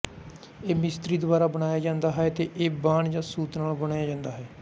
ਇਹ ਮਿਸਤਰੀ ਦੁਆਰਾ ਬਣਾਇਆ ਜਾਂਦਾ ਹੈ ਤੇ ਇਹ ਵਾਨ ਜਾ ਸੂਤ ਨਾਲ ਬੁਣਿਆ ਜਾਂਦਾ ਹੈ